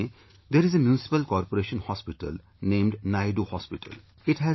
And in Pune, there is a Muncipal Corporation Hospital, named Naidu Hospital